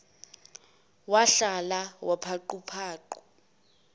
wahlalala paqu paqu